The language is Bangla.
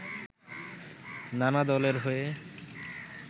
নানা দলের হয়ে